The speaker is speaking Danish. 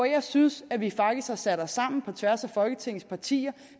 jeg synes at vi faktisk har sat os sammen på tværs af folketingets partier